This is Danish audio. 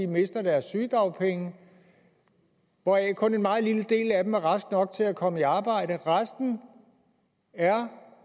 mister deres sygedagpenge og hvoraf kun en meget lille del af dem er raske nok til at komme i arbejde resten er